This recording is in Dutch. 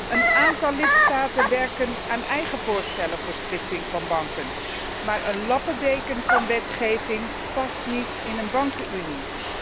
Een aantal lidstaten werkt aan eigen voorstellen voor splitsing van banken, maar een lappendeken van wetgeving past niet in een bankenunie.